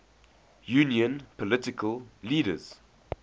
union political leaders